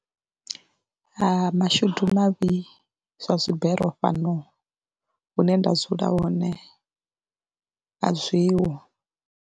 Mashudu mavhi zwa dzibere fhano hune nda dzula hone a zwiho.